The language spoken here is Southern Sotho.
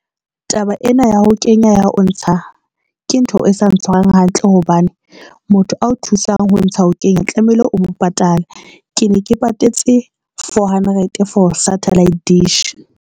Taba ena ya ho kenya ya o ntsha ke ntho e sa ntshwarang hantle hobane motho ao thusang ho ntsha ho kenya tlamehile o mo patalla. Ke ne ke patetse four hundred for satellite dish.